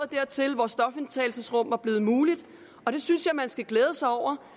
dertil hvor stofindtagelsesrum var blevet muligt og det synes jeg man skal glæde sig over